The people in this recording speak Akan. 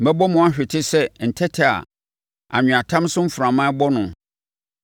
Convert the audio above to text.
“Mɛbɔ mo ahwete sɛ ntɛtɛ a anweatam so mframa rebɔ no.